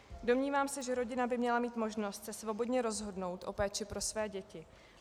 Domnívám se, že rodina by měla mít možnost se svobodně rozhodnout o péči pro své děti.